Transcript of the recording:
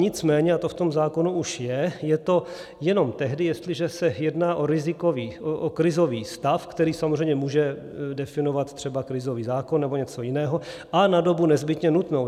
Nicméně, a to v tom zákonu už je, je to jenom tehdy, jestliže se jedná o krizový stav, který samozřejmě může definovat třeba krizový zákon nebo něco jiného, a na dobu nezbytně nutnou.